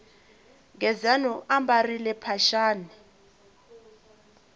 gezani u ambarile mphaxani